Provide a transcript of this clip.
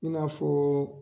II n'a fɔ